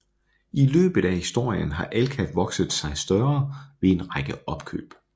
I løbet af historien har Alka vokset sig større ved en række opkøb